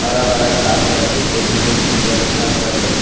हरा भरा घास बाटे। इ देखे में बहुत सुन्दर देखात बाटे।